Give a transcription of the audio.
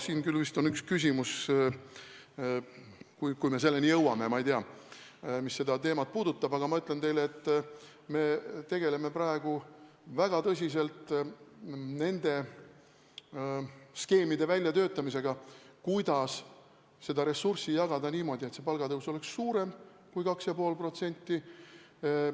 Siin vist on üks järgmine küsimus, mis seda teemat puudutab – kas me selleni jõuame, ma ei tea –, aga ma ütlen teile, et me tegeleme praegu väga tõsiselt nende skeemide väljatöötamisega, kuidas ressurssi jagada niimoodi, et palgatõus oleks suurem kui 2,5%.